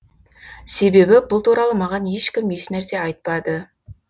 себебі бұл туралы маған ешкім ешнәрсе айтпады